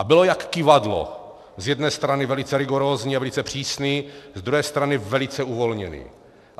A byl jak kyvadlo - z jedné strany velice rigorózní a velice přísný, z druhé strany velice uvolněný.